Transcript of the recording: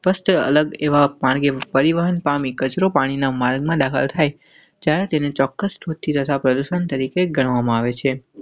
First અલગ એવા પાણી પરિવહન પામી કચરો પાણી ના માર્ગ માં દાખલ થાય ત્યારે તેને ચોક્કસથી તથા પ્રદુષણ તરીકે ગણવામાં આવે છે.